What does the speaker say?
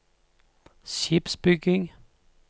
skipsbygging